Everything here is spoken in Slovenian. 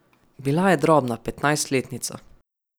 Bila je drobna petnajstletnica.